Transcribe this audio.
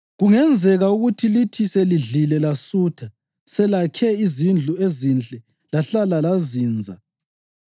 Kungenzeka ukuthi lithi selidlile lasutha, selakhe izindlu ezinhle lahlala lazinza,